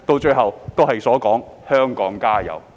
最後，便是"香港加油"。